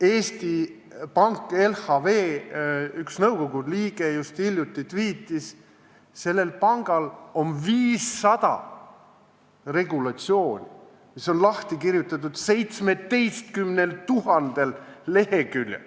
Eesti LHV Panga nõukogu üks liige just hiljuti tviitis, et sellel pangal on 500 regulatsiooni, mis on lahti kirjutatud 17 000 leheküljel.